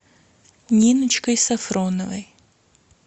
ниночкой сафроновой